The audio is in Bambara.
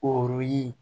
K'o ye